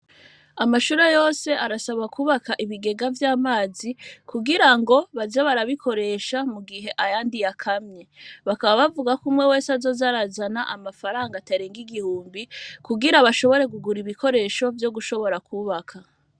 Amashure yose arasaba kubaka ibigega vy'amazi kugira ngo baja barabikoresha mu gihe aya ndiyakamye bakaba bavuga ko umwe wese azozarazana amafaranga atarenge igihumbi kugira bashobore gugura ibikoresho vyo gushobora kubaka.